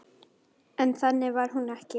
En þannig var hún ekki.